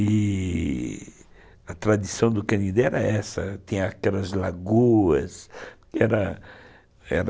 E a tradição do Canindé era essa, tinha aquelas lagoas...